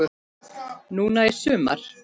Núna í sumar?